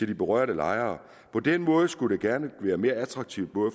de berørte lejere på den måde skulle det gerne være mere attraktivt